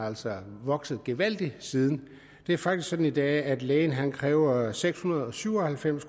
altså vokset gevaldigt siden det er faktisk sådan i dag at lægen kræver seks hundrede og syv og halvfems